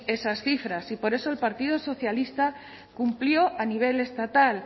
esas cifras y por eso el partido socialista cumplió a nivel estatal